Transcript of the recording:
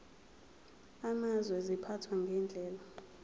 amazwe ziphathwa ngendlela